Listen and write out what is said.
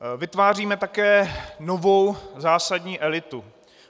Vytváříme také novou zásadní elitu.